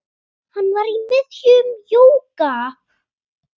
Hann var í miðjum jóga